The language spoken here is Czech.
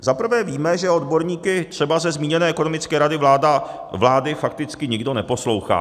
Zaprvé víme, že odborníky třeba ze zmíněné ekonomické rady vlády fakticky nikdo neposlouchá.